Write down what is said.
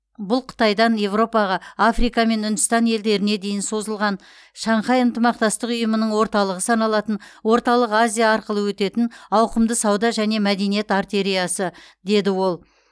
бұл қытайдан еуропаға африка мен үндістан елдеріне дейін созылған шанхай ынтымақтастық ұйымының орталығы саналатын орталық азия арқылы өтетін ауқымды сауда және мәдениет артериясы деді ол